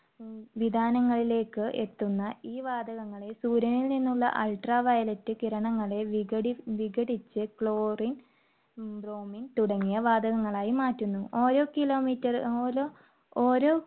ഉം വിതാനങ്ങളിലേക്ക് എത്തുന്ന ഈ വാതകങ്ങളെ സൂര്യനിൽനിന്നുള്ള Ultraviolet കിരണങ്ങളെ വിടി~വിഘടിച്ച് chlorine, bromine തുടങ്ങിയ വാതകങ്ങളായി മാറ്റുന്നു. ഓരോ കിലോമീറ്റ~ഓരോ~ഓരോ